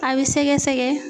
A be sɛgɛsɛgɛ